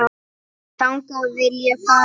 Þangað vil ég fara.